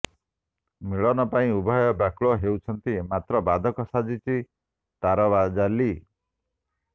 ମିଳନ ପାଇଁ ଉଭୟ ବ୍ୟାକୁଳ ହେଉଛନ୍ତି ମାତ୍ର ବାଧକ ସାଜିଛି ତାରଜାଲି